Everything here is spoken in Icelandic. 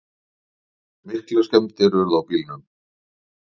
Miklar skemmdir urðu á bílunum